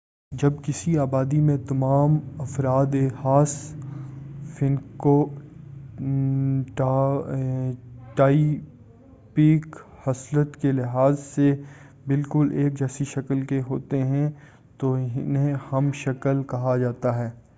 جب کسی آبادی میں تمام افراد ایک خاص فینو ٹایپیک خصلت کے لحاظ سے بالکل ایک جیسی شکل کے ہوتے ہیں تو انہیں ہم شَکَل مونومورفیک کہا جاتا ہے۔